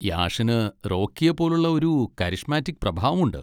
യാഷിന് റോക്കിയെപ്പോലുള്ള ഒരു കരിഷ്മാറ്റിക് പ്രഭാവമുണ്ട്.